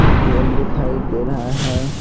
पोल दिखाई दे रहा है।